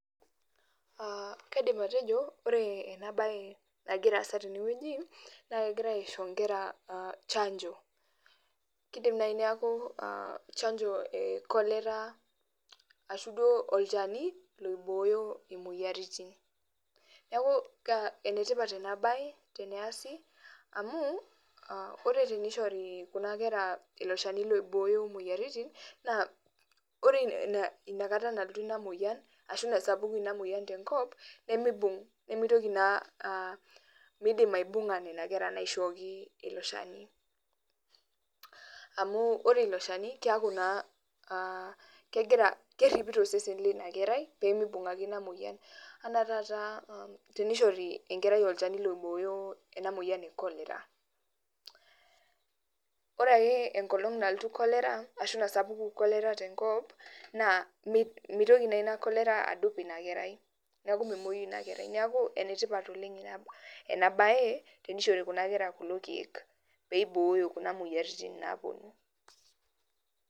Ah kaidim atejo ore enabae nagira aasa tenewueji, na kegirai aisho nkera chanjo. Kidim nai neeku chanjo e cholera, ashu duo olchani loibooyo imoyiaritin. Neeku enetipat enabae teasi, amu ore tenishori kuna kera ilo shani loibooyo moyiaritin, naa ore inakata nalotu ina moyian, ashu nasapuku ina moyian tenkop, nimibung' nimitoki naa midim aibung'a nena kera naishooki ilo shani. Amu ore ilo shani keeku naa ah kegira kerripito osesen linakerai, pimibung' ake ina moyian. Ana taata tenishori enkerai olchani loibooyo ena moyian e cholera. Ore ake enkolong nalotu cholera, ashu nasapuku cholera tenkop, naa mitoki naa ina cholera adup inakerai. Neeku memoyu inakerai. Neeku enetipat oleng enabae tenishori kuna kera kulo keek, peibooyo kuna moyiaritin naponu.